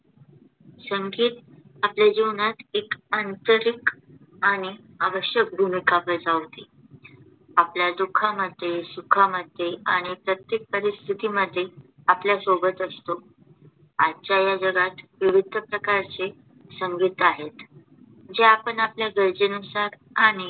आपल्या दुःखामध्ये सुखामध्ये आणि प्रत्येक परिस्थितीमध्ये आपल्याबरोबर असतो. आजच्या या जगात विविध प्रकारचे संगीत आहेत